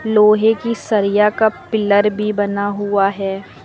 लोहे की सरिया का पिलर भी बना हुआ है।